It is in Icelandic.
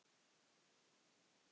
Það gerist ekki.